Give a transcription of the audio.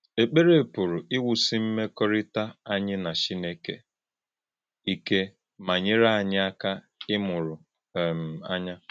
Èk̀pèrè pụ̀rụ̀ íwúsì mmékọ̀rị́tà ányí na Chìnékè íké má nyèrè ányí ákà ímụ́rụ̀ um ànyà.